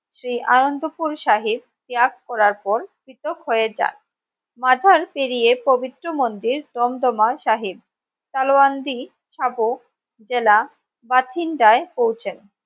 শ্রী আনন্দপুর সাহেব ত্যাগ করার পর পৃথক হয়ে যায় মাঝার পেরিয়ে পবিত্র মন্দির তন্তমার সাহেব তালোয়ান জি সব জেলা বাথিন্দয় পৌঁছেন